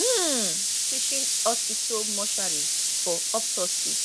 um teaching hospital mortuary for autopsy